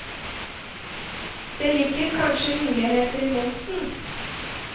Det ligger kanskje muligheter i momsen.